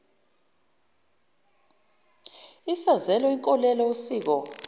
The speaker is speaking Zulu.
isazela inkolelo usiko